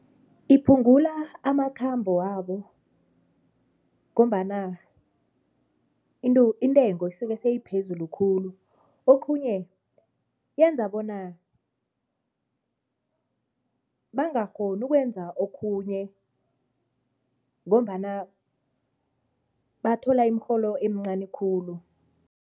Iphungula amakhambo wabo ngombana intengo isuke seyiphezulu khulu, okhunye yenza bona bangakghoni ukwenza okhunye ngombana bathola imirholo emincani khulu.